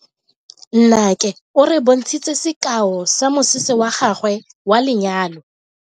Nnake o re bontshitse sekao sa mosese wa gagwe wa lenyalo.